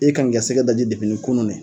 E kan k'i ka sɛgɛ daji depini kunun ne